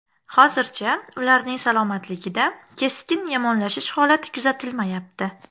Hozircha ularning salomatligida keskin yomonlashish holati kuzatilmayapti.